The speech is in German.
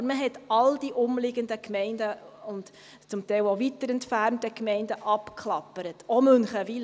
Aber man hat all die umliegenden Gemeinden und zum Teil auch weiter entfernte Gemeinden abgeklappert, auch Münchenwiler.